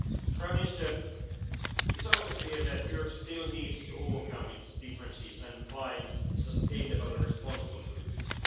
Italy. Prime Minister, it is also clear that Europe still needs to overcome its differences and find sustainable and responsible solutions.